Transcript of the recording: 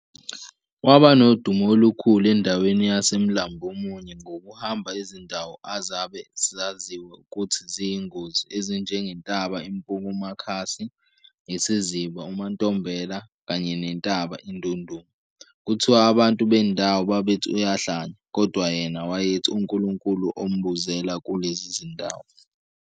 Waba nodumo olukhulu endaweni yaseMlambomunye ngokuhamba izindawo azabe zaziwa ukuthi ziyingozi ezinjengentaba iMpukumakhasi, isiziba uMaNtombela kanye nentaba iNdunduma. Kuthiwa abantu bendawo babethi uyahlanya, kodwa yena wayethi uNkulunkulu ombuzela kulezi zindawo.